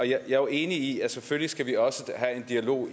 jeg er jo enig i at vi selvfølgelig også skal have en dialog